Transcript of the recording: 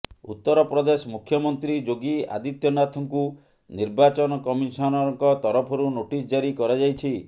ଉତ୍ତରପ୍ରଦେଶ ମୁଖ୍ୟମନ୍ତ୍ରୀ ଯୋଗୀ ଆଦିତ୍ୟନାଥଙ୍କୁ ନିର୍ବାଚନ କମିଶନଙ୍କ ତରଫରୁ ନୋଟିସ ଜାରି କରାଯାଇଛି